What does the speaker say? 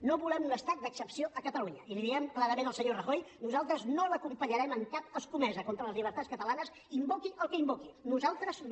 no volem un estat d’excepció a catalunya i l’hi diem clarament al senyor rajoy nosaltres no l’acompanyarem en cap escomesa contra les llibertats catalanes invoqui el que invoqui nosaltres no